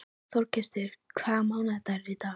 Þorgestur, hvaða mánaðardagur er í dag?